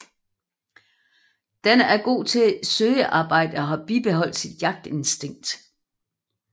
Den er god til søgearbejde og har beholdt sit jagtinstinkt